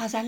آنی